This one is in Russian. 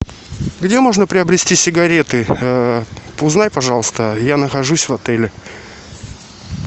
где можно приобрести сигареты узнай пожалуйста я нахожусь в отеле